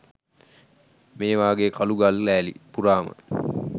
මේ වාගේ කළු ගල්ලෑලි පුරාම